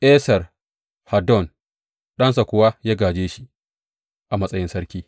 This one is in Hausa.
Esar Haddon ɗansa kuwa ya gāje shi a matsayin sarki.